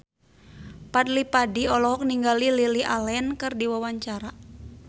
Fadly Padi olohok ningali Lily Allen keur diwawancara